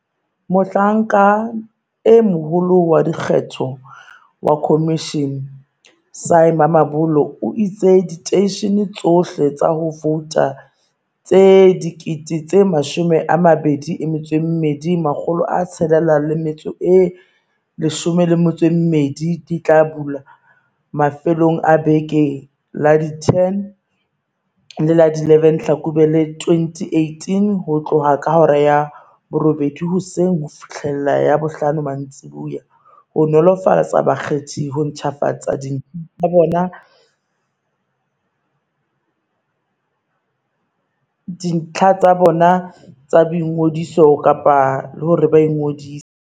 Mohlanka e Moholo wa Dikgetho wa khomishene, Sy Mamabolo, o itse diteishene tsohle tsa ho vouta tse 22 612 di tla bulwa mafelong a beke ya la 10 le la 11 Hlakubele 2018, ho tloha ka hora ya borobedi hoseng ho fihlela ya bohlano mantsiboya, ho nolofaletsa bakgethi ho ntjhafatsa dintlha tsa bona tsa boingodiso kapa hore ba ingodise.